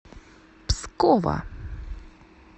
пскова